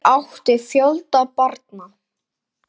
Þau áttu fjölda barna.